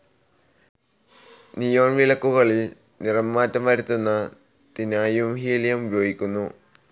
Neon വിളക്കുകളിൽ നിറമാറ്റം വരുത്തുന്നതിനായുംഹീലിയം ഉപയോഗിക്കുന്നു.